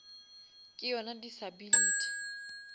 ke yona disability